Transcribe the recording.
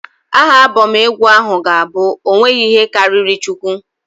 Aha Abọm egwu ahụ ga-abụ "ọ nweghị ihe karịrị Chukwu".